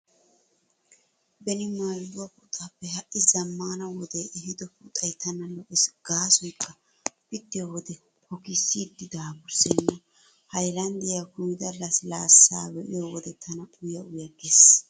Beni maldduwaa puxaappe ha'i zammaana wode ehiido puxay tana lo'ees gaasoykka pittiyo wode hokissiiddi daafurssenna. Haylandiyaa kumida lasilaassa be'iyo wode tana uya uya gees.